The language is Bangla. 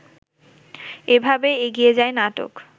এভাবেই এগিয়ে যায় নাটক